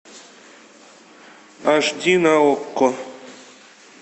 аш ди на окко